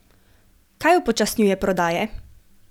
Kaj upočasnjuje prodaje?